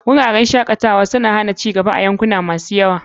Wuraren shakatawa na aljihu suna hana ci gaba a cikin yankuna masu yawa.